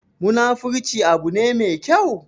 Munafurci abu ne me kyau?